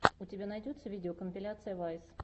у тебя найдется видеокомпиляция вайс